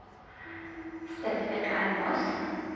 Steffen Almås